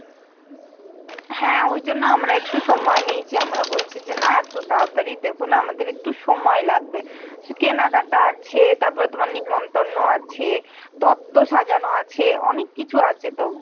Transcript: হ্যাঁ ওই জন্য আমরা একটু সময় নিয়েছি কি আমরা বলছি যে না এত তাড়াতাড়ি দেবনা, আমাদের একটু সময় লাগবে। সে কেনা কাটা আছে তারপর সে নেমন্তন্ন আছে তত্ব সাজানো আছে অনেক কিছু আছে তো